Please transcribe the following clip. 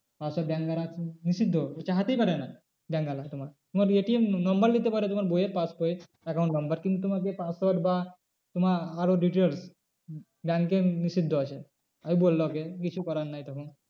Password দ্বারা নিষিদ্ধ চাইতেই পারে না bank তোমার, তোমার ATM number নিতে পারে তোমার পাসবই এর account number কিন্তু তোমার যে password বা তোমার আরো details উম bank এ নিষিদ্ধ আছে। এই বললো ওকে কিছু করার নেই তখন।